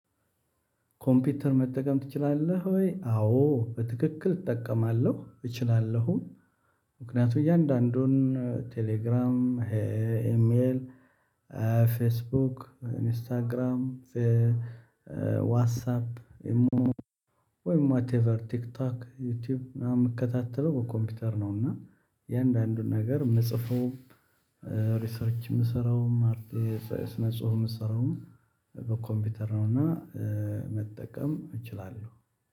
ኮምፒውተር መጠቀም ትችላለህ ወይ? አዎ በትክክል እጠቀማለሁም። ምክንያቱም እያንዳንዱን ቴሌግራም ኤሜል ፌስቡክ ኢንስታግራም ዋትሳፕ ኢሞ ወይም ዋትኤቨር ቲክቶክ ዩቲዩብ ምናምን የምከታተለው በኮምፒውተር ነው። እና እያንዳንዱን ነገር የምጽፈውም ሪሰርች የምሰራውም አርቴ ስነ ጽሁፍ የምሰራውም በኮምፒውተር ነውና። መጠቀም እችላለሁ